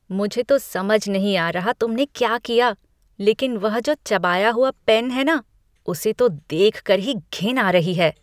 मुझे तो समझ नहीं आ रहा कि तुमने क्या किया। लेकिन वह जो चबाया हुआ पेन है ना, उसे तो देखकर ही घिन आ रही है!